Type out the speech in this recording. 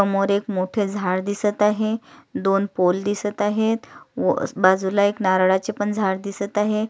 समोर एक मोठे झाड दिसत आहे दोन पोल दिसत आहे बाजूला एक नारळाचे झाड दिसत आहे.